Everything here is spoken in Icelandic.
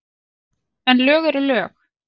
En lög eru lög.